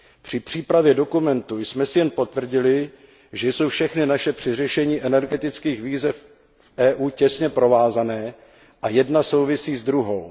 Při přípravě dokumentu jsme si jen potvrdili, že jsou všechny naše snahy při řešení energetických výzev v EU těsně provázané a jedna souvisí s druhou.